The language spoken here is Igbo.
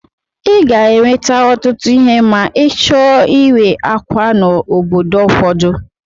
I ga-eweta ọtụtụ ihe ma ịchọọ ịwa ákwà n'obodo ụfọdụ.